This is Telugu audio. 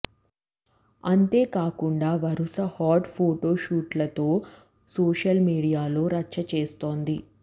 అంతేకాకుండా వరుస హాట్ ఫొటో షూట్లతో సోషల్ మీడియాలో రచ్చ చేస్తోంది